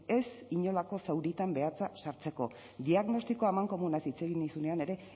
ez inolako zauritan behatza sartzeko diagnostiko amankomunaz hitz egin nizunean ere